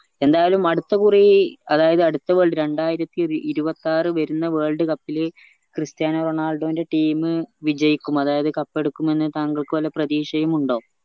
എന്തായാലും അടുത്ത കുറി അതായത് അടിത്ത world രണ്ടായിരത്തി ഇരുപത്തി ആറ് വരുന്ന world cup ല് ക്രിസ്ത്യാനോ റൊണാൾഡോന്റെ team വിജയിക്കും അതായത് cup എടുക്കുമെന്ന് താങ്കൾക്ക് വല്ല പ്രതീക്ഷയുംമുണ്ടോ